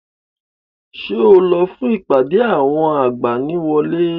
Ṣé o lọ fún ìpàdé àwọn agbaniwọlé?